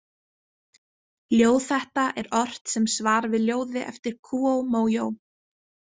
Ljóð þetta er ort sem svar við ljóði eftir Kúó Mójó.